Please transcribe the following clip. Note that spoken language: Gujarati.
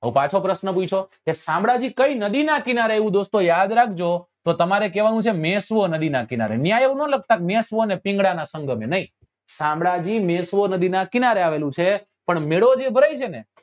તો પાછો પ્રશ્ન પૂછ્યો કે શામળાજી કઈ નદી નાં કિનારે આવ્યું દોસ્તો યાદ રાખજો તો તમારે કેવા નું છે મેશ્વો નદી નાં કિનારે ત્યાં એવું નાં લખતા કે મેશ્વો ને પિંગલા નાં સંગમે નહિ શામળાજી મેશ્વો નદી નાં કિનારે આવેલું છે પણ મેળો જે ભરાય છે ને